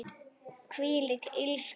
Þvílík illska.